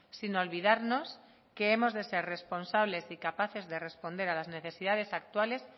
sin olvidarnos que hemos de ser responsables y capaces de responder a las necesidades actuales